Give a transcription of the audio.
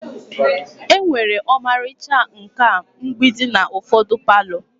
Enwere ọmarịcha nkà mgbidi n'ufodi palo.